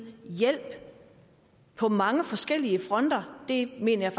hjælp på mange forskellige fronter det mener